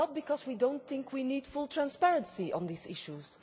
It is not because we do not think we need full transparency on these issues.